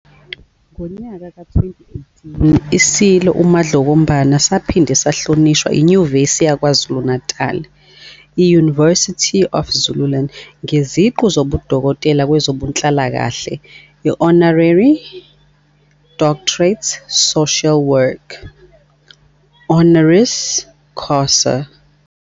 Ngonyaka ka-2018 iSilo uMdlokombane saphinde sahlonishwa iNyuvesi yakwaZulu, University of Zululand, ngeziqu zobudokotela kwezobunhlalakahle, Honorary Doctorate Social Work, honoris causa.